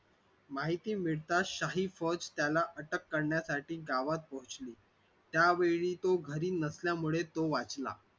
माहिती पडताच शाही फौज त्याला अटक करण्यासाठी गावात पोहोचली त्यामुळे तो घरी नसल्यामुळे तो वाचला.